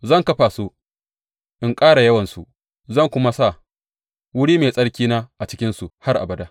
Zan kafa su in ƙara yawansu, zan kuma sa wuri mai tsarkina a cikinsu har abada.